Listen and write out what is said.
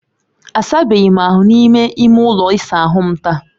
Asabeghị m ahụ n'ime ime ụlọ ịsa ahu m taa